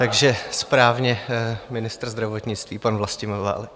Takže správně ministr zdravotnictví pan Vlastimil Válek.